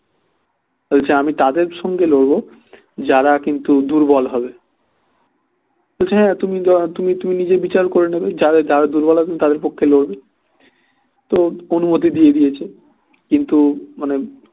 বলছে আমি তাদের সঙ্গে লড়বো যারা কিন্তু দুর্বল হবে বলছে হ্যাঁ তুমি তুমি নিজের বিচার করে নেবে যারা দুর্বল আছে তাদের পক্ষে লড়বে তো অনুমতি দিয়ে দিয়েছে কিন্তু মানে